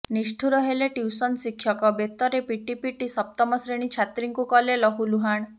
ନିଷ୍ଠୁର ହେଲେ ଟ୍ୟୁସନ ଶିକ୍ଷକ ବେତରେ ପିଟି ପିଟି ସପ୍ତମ ଶ୍ରେଣୀ ଛାତ୍ରୀଙ୍କୁ କଲେ ଲହୁଲୁହାଣ